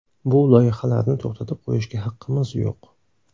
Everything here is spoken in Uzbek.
Bu loyihalarni to‘xtatib qo‘yishga haqqimiz yo‘q.